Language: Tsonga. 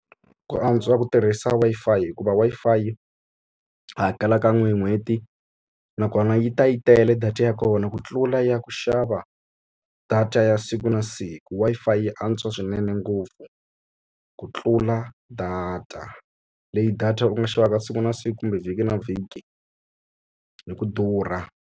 Ku antswa ku tirhisa Wi-Fi hikuva Wi-Fi u hakela kan'we hi n'hweti nakona yi ta yi tele data ya kona ku tlula ya ku xava data ya siku na na siku Wi-Fi yi antswa swinene ngopfu ku tlula data leyi data u nga xavaka siku na siku kumbe vhiki na vhiki hi ku durha.